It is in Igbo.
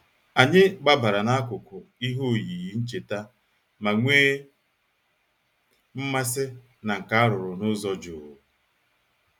Anyị gbabara n'akụkụ ihe oyiyi ncheta ma nwee mmasị na nka a rụrụ n'ụzọ jụụ.